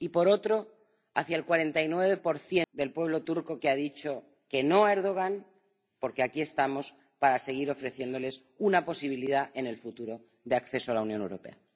Y, por otro, hacia el 49 del pueblo turco que ha dicho que no a Erdogan, porque aquí estamos para seguir ofreciéndoles una posibilidad en el futuro de acceso a la Unión Europea.